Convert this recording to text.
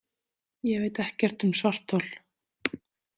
Ég veit ekkert um svarthol.